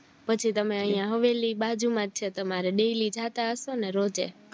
પછી તમે યા હવેલી બાજુ મજ છે તમારે daily જતા હશોને રોજે